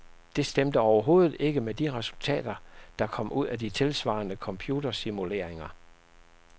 De stemte overhovedet ikke med de resultater, der kom ud af de tilsvarende computersimuleringer.